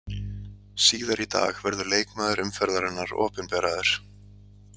Síðar í dag verður leikmaður umferðarinnar opinberaður.